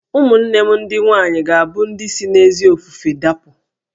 Ụmụnne m ndị nwaanyị ga-abụ ndị si n'ezi ofufe dapụ